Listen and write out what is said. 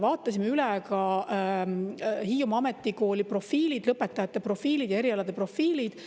Vaatasime üle ka Hiiumaa Ametikooli lõpetajate profiilid ja erialade profiilid.